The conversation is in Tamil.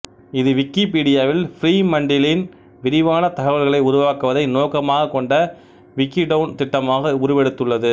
இது விக்கிபீடியாவில் ஃப்ரீமண்டிலின் விரிவான தகவல்களை உருவாக்குவதை நோக்கமாகக் கொண்ட விக்கிடவுன் திட்டமாக உருவெடுத்துள்ளது